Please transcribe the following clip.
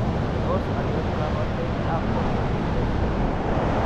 Tos achon kabarunaik ab Chondrodysplasia ?